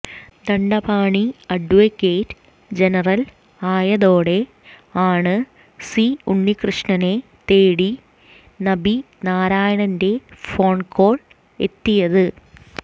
Dandapani advocate general ആയതോടെ ആണ് C ഉണ്ണിക്കൃഷ്ണനെ തേടി നമ്പി നാരായണന്റെ ഫോൺ കോൾ എത്തിയത്